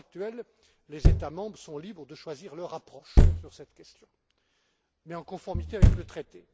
À l'heure actuelle, les États membres sont libres de choisir leur approche sur cette question, mais en conformité avec le Traité.